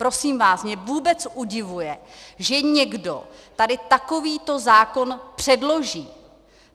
Prosím vás, mě vůbec udivuje, že někdo tady takovýto zákon předloží.